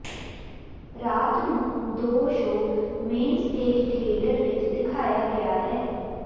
ਰਾਤ ਨੂੰ ਦੋ ਸ਼ੋਅ ਮੇਨਸਟੇਜ ਥੀਏਟਰ ਵਿੱਚ ਦਿਖਾਇਆ ਗਿਆ ਹੈ